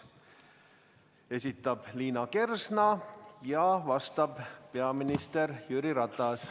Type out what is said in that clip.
Esitab Liina Kersna ja vastab peaminister Jüri Ratas.